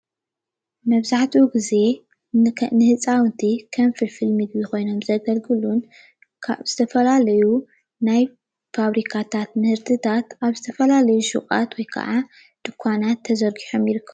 መብዛሕቲኡ ግዜ ንህፃውቲ ከም ፍልፍል ምግቢ ኮይኖም ዘገልግሉ ዝተፈላለየ ናይ ፋብሪካታት ምህርትታት ኣብ ዝተፈላለየ ድኳናት ሹቃት ተዘርጊሖም ይርከቡ፡፡